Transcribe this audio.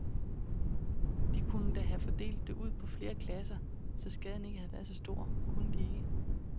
De kunne da have fordelt det ud på flere klasser, så skaden ikke havde været så stor, kunne de ikke?